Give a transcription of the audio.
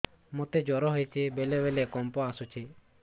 ମୋତେ ଜ୍ୱର ହେଇଚି ବେଳେ ବେଳେ କମ୍ପ ଆସୁଛି